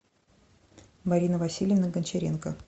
марина васильевна гончаренко